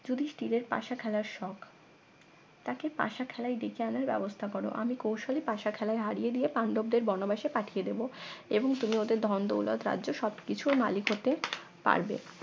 যুধিষ্ঠিরের পাসা খেলার শখ তাকে পাশা খেলায় ডেকে আনার ব্যবস্থা করো আমি কৌশলী পাশা খেলায় হারিয়ে দিয়ে পাণ্ডবদের বনবাসে পাঠিয়ে দেবো এবং তুমি ওদের ধন দৌলত রাজ্য সবকিছুর মালিক হতে পারবে